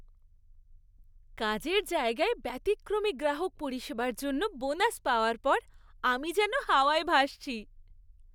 কাজের জায়গায় ব্যতিক্রমী গ্রাহক পরিষেবার জন্য বোনাস পাওয়ার পর আমি যেন হাওয়ায় ভাসছি।